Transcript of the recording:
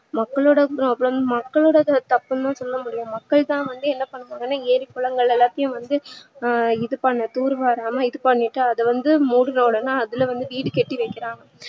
மக்களோட problem மக்களோட தப்புனுதா சொல்லமுடியும் மக்கள்தா வந்து என்ன பண்ணுவாங்கனா ஏறி குளங்கள் எல்லாத்தையும் வந்து ஆஹ் இது பண்ண தூர் வாராம இது பண்ணிட்டு அதுவந்து மூட்டுன உடனே அதுல வீடு கட்டி வைக்கறாங்க